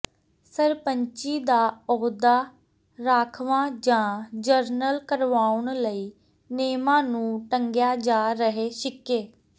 ਸਰਪੰਚੀ ਦਾ ਅਹੁਦਾ ਰਾਖਵਾਂ ਜਾਂ ਜਨਰਲ ਕਰਵਾਉਣ ਲਈ ਨਿਯਮਾਂ ਨੂੰ ਟੰਗਿਆ ਜਾ ਰਿਹੈ ਛਿੱਕੇ